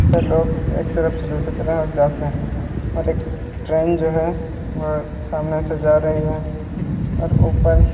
सब लोग एक तरफ से दूसरे तरफ जाते है और एक ट्रेन जो है वह सामने से जा रही है और ऊपर --